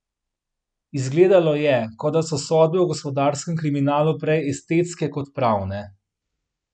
Izgledalo je, kot da so sodbe o gospodarskem kriminalu prej estetske kot pravne.